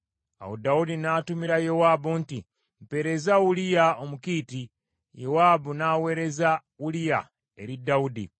Awo Dawudi n’atumira Yowaabu nti, “Mpeereza Uliya Omukiiti.” Yowaabu n’aweereza Uliya eri Dawudi.